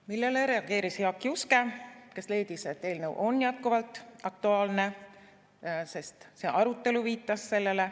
Sellele reageeris Jaak Juske, kes leidis, et eelnõu on jätkuvalt aktuaalne, sest see arutelu viitas sellele.